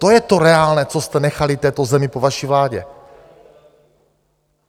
To je to reálné, co jste nechali této zemi po vaší vládě.